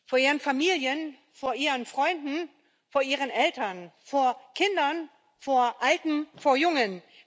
Vor ihren Familien, vor ihren Freunden, vor ihren Eltern, vor Kindern, vor Alten, vor Jungen.